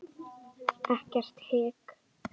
Ekkert hik.